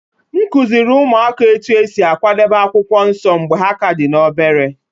M kụziiri ụmụaka otú e si akwadebe akwụkwọ nsọ mgbe ha ka dị obere